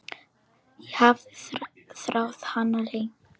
Ég hafði þráð hana lengi.